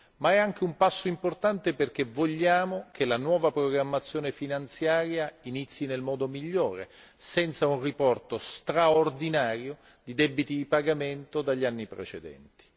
Ma è anche un passo importante perché vogliamo che la nuova programmazione finanziaria inizi nel modo migliore, senza un riporto straordinario di debiti di pagamento dagli anni precedenti.